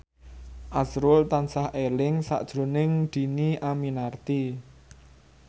azrul tansah eling sakjroning Dhini Aminarti